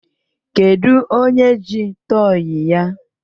Kedu onye ji tọyị ya?